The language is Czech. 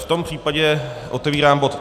V tom případě otevírám bod